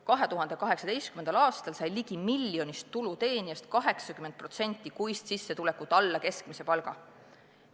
2018. aastal sai ligi miljonist tuluteenijast 80% kuist sissetulekut alla keskmise palga.